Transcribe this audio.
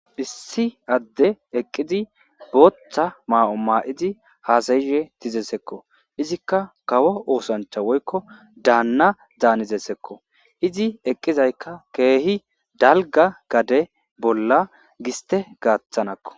issi adde eqqidi booththa maa7o maa7idi haasayishe dizesekko izikka kawo oosancha woykko daanna zaanizesekko izi eqqizaykka keehi dalga gade bolla giste gaaththanakko